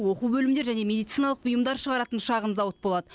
оқу бөлімдері және медициналық бұйымдар шығаратын шағын зауыт болады